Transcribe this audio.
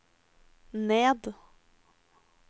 ned